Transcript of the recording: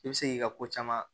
I bɛ se k'i ka ko caman